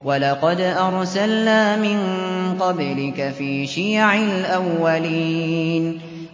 وَلَقَدْ أَرْسَلْنَا مِن قَبْلِكَ فِي شِيَعِ الْأَوَّلِينَ